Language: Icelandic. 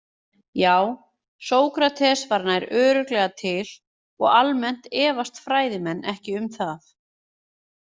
Já, Sókrates var nær örugglega til og almennt efast fræðimenn ekki um það.